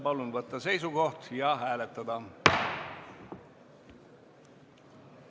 Palun võtta seisukoht ja hääletada!